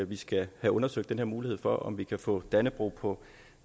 vi skal have undersøgt den her mulighed for om vi kan få dannebrog på